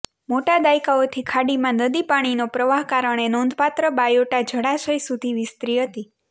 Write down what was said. મોટા દાયકાઓથી ખાડીમાં નદી પાણીનો પ્રવાહ કારણે નોંધપાત્ર બાયોટા જળાશય સુધી વિસ્તરી હતી